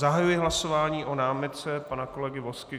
Zahajuji hlasování o námitce pana kolegy Vozky.